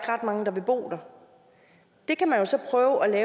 ret mange der vil bo der det kan man jo så prøve at